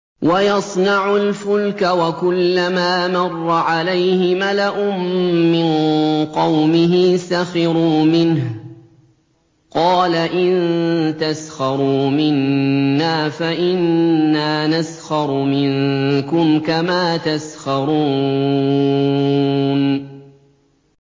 وَيَصْنَعُ الْفُلْكَ وَكُلَّمَا مَرَّ عَلَيْهِ مَلَأٌ مِّن قَوْمِهِ سَخِرُوا مِنْهُ ۚ قَالَ إِن تَسْخَرُوا مِنَّا فَإِنَّا نَسْخَرُ مِنكُمْ كَمَا تَسْخَرُونَ